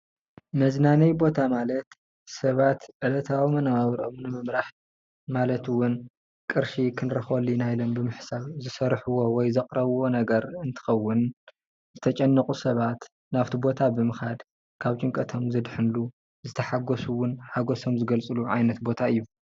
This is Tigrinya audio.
መዝናነዪ ቦታ ማለት ሰባት ዕለታዊ መነባብሮኦም ንምምራሕ ማለት እውን ቅርሺ ክንረክበሉ ኢና ኢሎም ዝሰርሕዎ ወይ ዘቕረብዎ ነገር እትከውን ዝተጨነቁ ሰባት ናብቲ ቦታ ብምካድ ካብ ጭንቀቶም ዘድሕንሉ ሓጎሶም ዝገልፅሉ ዓይነት ቦታ እዩ፡፡